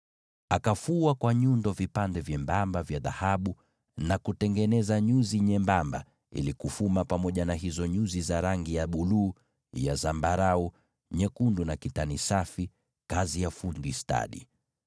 Akafua vipande vyembamba vya dhahabu kwa nyundo na kutengeneza nyuzi nyembamba ili kuzifuma pamoja na hizo nyuzi za rangi ya buluu, za zambarau, na za rangi nyekundu na kitani safi, kazi ya fundi stadi.